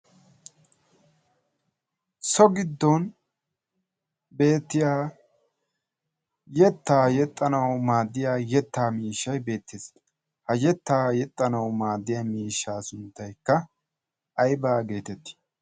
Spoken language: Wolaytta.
So giddon beettiya yettaa yexxanaw maaddiya yetta miishshay beettees. Ha yettaa yexxanaw maaddiya miishsha sunttaykka aybba getetti?